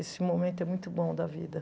Esse momento é muito bom da vida.